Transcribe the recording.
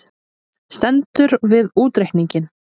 Stendur við útreikninginn